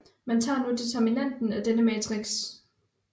Man tager nu determinanten af denne matrix